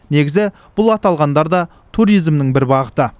негізі бұл аталғандар да туризмнің бір бағыты